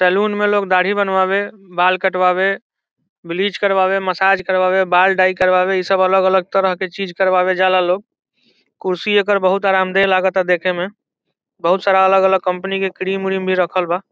Saloon मे लोग दाढ़ी बावे बाल कटवावे ब्लीच करबावे मसाज करवावे बाल डाई करवाए अलग-अलग तरह के चीज करवावे ले जाला लोग कुर्सी एकर बहुत आराम देह लगाता देखे में बहुत सारा अलग-अलग कंपनी के क्रीम उरिम रखल बा।